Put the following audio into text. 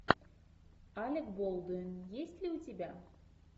алек болдуин есть ли у тебя